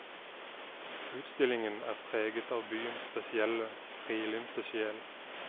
Utstillingen er preget av byens spesielle, frilynte sjel.